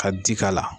Ka ji k'a la